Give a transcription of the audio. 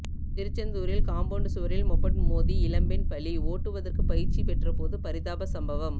திருச்செந்தூரில் காம்பவுண்டு சுவரில் மொபட் மோதி இளம்பெண் பலி ஓட்டுவதற்கு பயிற்சி பெற்றபோது பரிதாப சம்பவம்